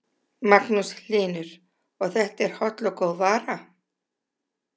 Magnús Hlynur: Og þetta er holl og góð vara?